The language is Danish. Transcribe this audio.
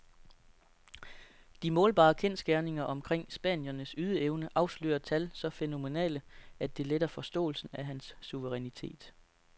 De målbare kendsgerninger omkring spanierens ydeevne afslører tal så fænomenale, at det letter forståelsen af hans suverænitet.